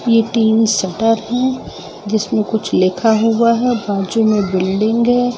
ये तीन शटर है जिसमें कुछ लिखा हुआ है बाजू में बिल्डिंग है।